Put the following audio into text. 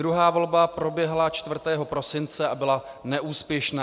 Druhá volba proběhla 4. prosince a byla neúspěšná.